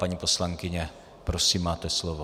Paní poslankyně, prosím, máte slovo.